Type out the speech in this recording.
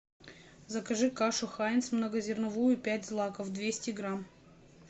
закажи кашу хайнц многозерновую пять злаков двести грамм